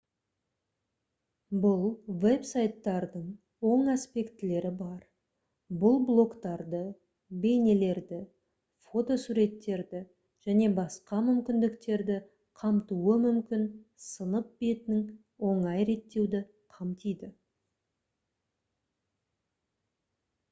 бұл веб-сайттардың оң аспектілері бар бұл блогтарды бейнелерді фотосуреттерді және басқа мүмкіндіктерді қамтуы мүмкін сынып бетін оңай реттеуді қамтиды